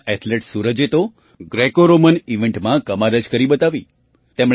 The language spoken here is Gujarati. આપણા એથલેટ સૂરજે તો ગ્રેકોરોમેન ઇવન્ટમાં કમાલ જ કરી બતાવી